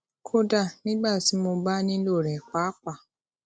kódà nígbà tí mo bá nílò rè pàápàá